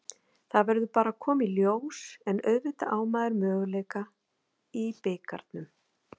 Það verður bara að koma í ljós, en auðvitað á maður möguleika í bikarnum.